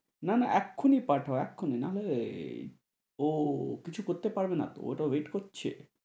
না না এক্ষুনি পাঠাও এক্ষুনি না হলে আহ ও কিছু করতে পারবে না তো ওটা wait করছে।